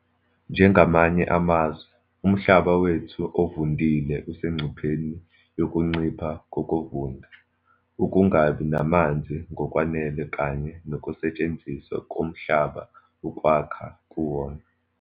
Njengamanye amazwe, umhlaba wethu ovundile usengcupheni yokuncipha kokuvunda, ukungabi namanzi ngokwanele kanye nokusetshenziswa komhlaba ukwakha kuwona.